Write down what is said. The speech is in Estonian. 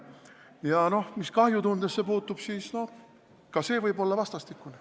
Ja mis kahjutundesse puutub, siis ka see võib olla vastastikune.